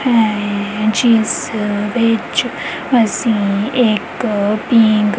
ਏਹ ਜਿੱਸ ਵਿਚ ਅਸੀਂ ਇੱਕ ਪਿੰਗ--